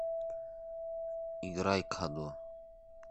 играй кадо